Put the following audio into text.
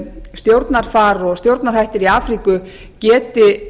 stjórnarfar og stjórnarhættir í afríku geti